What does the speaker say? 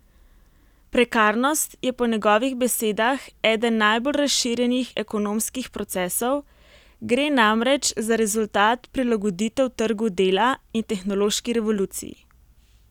Prekarnost je po njegovih besedah eden najbolj razširjenih ekonomskih procesov, gre namreč za rezultat prilagoditev trgu dela in tehnološki revoluciji.